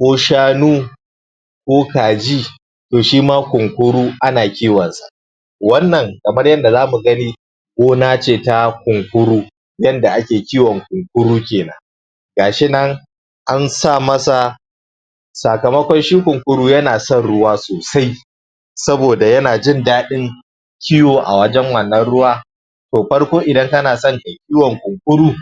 ko shanu, ko kaji, to shima kunkuru ana kiwon sa. Wannan kamar yadda za mu gani, gona ce ta Kunkuru, yadda ake kiwon kukuru kenan Ga shi nan an sa masa sakamakon shi kunkuru yana son ruwa sosai, saboda yana jn daɗin kiwo a wajen wannan ruwa, to farko idan kana so kai kiwon Kunkuru,